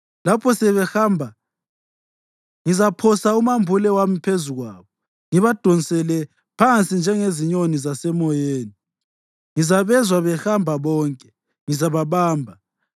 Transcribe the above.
Lapho sebehamba, ngizaphosa umambule wami phezu kwabo; ngizabadonsela phansi njengezinyoni zasemoyeni. Ngizabezwa behamba bonke, ngizababamba.